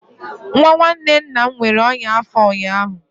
Nwa nwanne nna m nwere ọnya afo ụnyaahụ